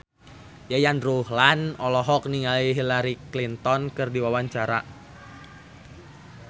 Yayan Ruhlan olohok ningali Hillary Clinton keur diwawancara